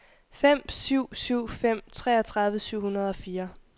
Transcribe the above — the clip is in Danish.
fem syv syv fem treogtredive syv hundrede og fire